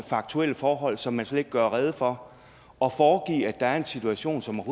faktuelle forhold som man slet ikke gør rede for og foregive at der er en situation som